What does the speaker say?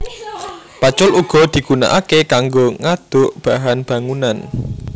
Pacul uga digunakaké kanggo ngaduk bahan bangunan